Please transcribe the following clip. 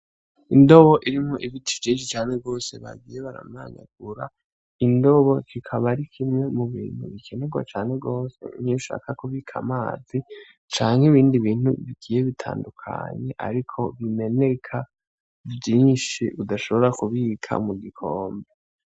Indobo irimo ibiti jesi cane bwose bagiye baramanyagura indobo kikaba ari kimwe mu bintu bikenerwa cane rwose ntiyshaka kubika amazi canke ibindi bintu bigiye bitandukanye, ariko bimeneka vyinshi udashobora kubika mu gikombe.